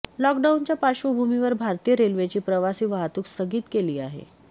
लॉकडाऊनच्या पार्श्वभूमीवर भारतीय रेल्वेची प्रवासी वाहतूक स्थगित केली आहे